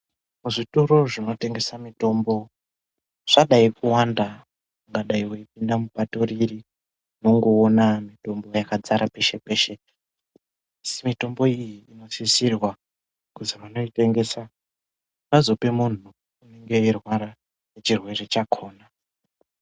Zvitoro zvinotengesa mitombo zvadai kuwanda ungadai weipinda mupato iri inongoona mitombo yakadzara peshe peshe asi mitombo iyi inosisirwa kuti munhu unoitengesa azopa munhu unenge eirwara ngechirwere chakona.